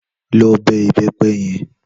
Lò bè ibèpè yèn